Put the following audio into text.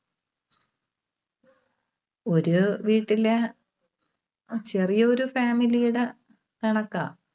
ഒരു വീട്ടിലെ ചെറിയ ഒരു family യുടെ കണക്കാ.